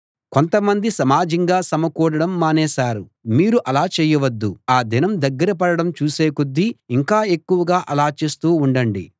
కొంత మంది సమాజంగా సమకూడడం మానేశారు మీరు అలా చేయవద్దు ఆ దినం దగ్గర పడడం చూసే కొద్దీ ఇంకా ఎక్కువగా అలా చేస్తూ ఉండండి